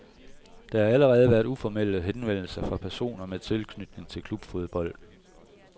Der har allerede været uformelle henvendelser fra personer med tilknytning til klubfodbolden.